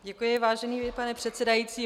Děkuji, vážený pane předsedající.